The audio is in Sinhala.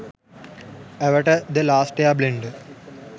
avatar the last air blender